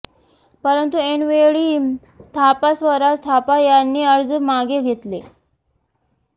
परंतु ऐनवेळी थापा स्वराज थापा यांनी अर्ज मागे घेतला